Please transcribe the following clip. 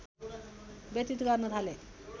व्यतीत गर्न थाले